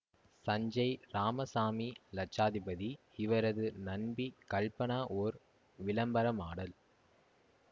சஞ்சேய் இராமசாமி இலட்சாதிபதி இவரது நண்பி கல்பனா ஓர் விளம்பர மாடல்